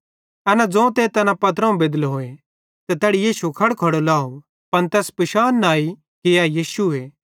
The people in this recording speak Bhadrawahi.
एना ज़ोंते तै पत्रोवं बेदलोई त तैड़ी यीशु खड़खड़ो लाव पन तैस पिशान न आई कि ए यीशुए